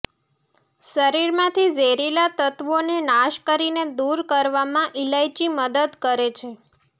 શરીર માંથી ઝેરીલા તત્વોને નાશ કરીને દુર કરવામાં ઈલાયચી મદદ કર છે